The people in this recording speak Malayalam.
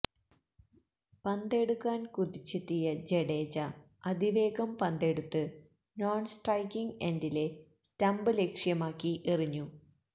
പന്തെടുക്കാൻ കുതിച്ചെത്തിയ ജഡേജ അതിവേഗം പന്തെടുത്ത് നോൺ സ്ട്രൈക്കിംഗ് എൻഡിലെ സ്റ്റമ്പ് ലക്ഷ്യമാക്കി എറിഞ്ഞു